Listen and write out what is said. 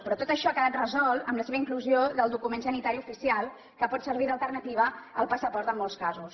però tot això ha quedat resolt amb la seva inclusió del document sanitari oficial que pot servir d’alternativa al passaport en molts casos